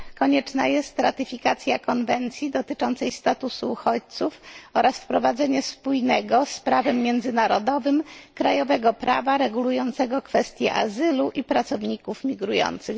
Konieczna jest ratyfikacja konwencji dotyczącej statusu uchodźców oraz wprowadzenie spójnego z prawem międzynarodowym krajowego prawa regulującego kwestię azylu i pracowników migrujących.